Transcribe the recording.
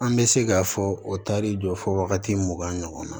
An bɛ se k'a fɔ o taari jɔ fɔ wagati mugan ɲɔgɔn na